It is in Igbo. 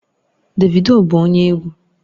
Davido bụ onye egwu